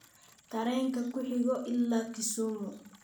tareenka ku xiga ila Kisumu